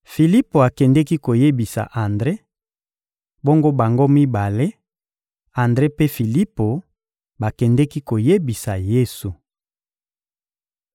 Filipo akendeki koyebisa Andre; bongo bango mibale, Andre mpe Filipo, bakendeki koyebisa Yesu.